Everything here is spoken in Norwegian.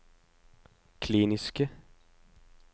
kliniske